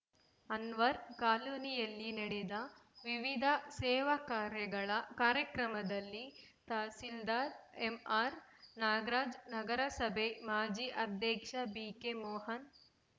ಅನ್ವರ್‌ ಕಾಲೋನಿಯಲ್ಲಿ ನಡೆದ ವಿವಿಧ ಸೇವಾ ಕಾರ್ಯಗಳ ಕಾರ್ಯಕ್ರಮದಲ್ಲಿ ತಹಸೀಲ್ದಾರ್‌ ಎಂಆರ್‌ ನಾಗರಾಜ್‌ ನಗರಸಭೆ ಮಾಜಿ ಅಧ್ಯಕ್ಷ ಬಿಕೆ ಮೋಹನ್‌